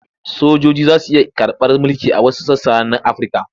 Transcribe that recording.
Sojoji za su iya karɓar mulki a wasu sassa na Afirka.